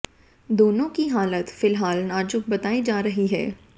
दोनों की हालत फिलहाल नाजुक बताई जा रही है